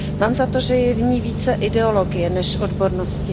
Mám za to, že je v ní více ideologie než odbornosti.